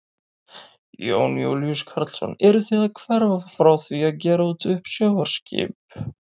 Jón Júlíus Karlsson: Eruð þið að hverfa frá því að gera út uppsjávarskip?